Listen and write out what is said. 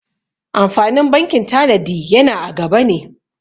Amfanin bankin tanadi yana a gaba ne.